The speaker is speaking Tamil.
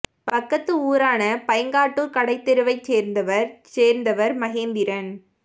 பக்கத்து ஊரான பைங்காட்டூர் கடை தெருவை சேர்ந்தவர் சேர்ந்தவர் மகேந்திரன்